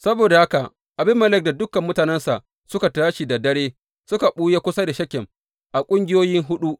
Saboda haka Abimelek da dukan mutanensa suka tashi da dare suka ɓuya kusa da Shekem a ƙungiyoyi huɗu.